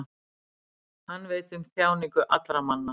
hann veit um þjáningar allra manna